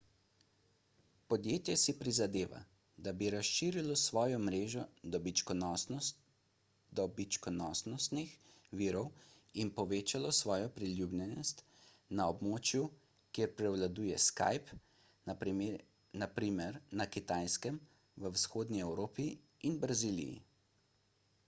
podjetje si prizadeva da bi razširilo svojo mrežo dobičkonosnih virov in povečalo svojo priljubljenost na območjih kjer prevladuje skype na primer na kitajskem v vzhodni evropi in braziliji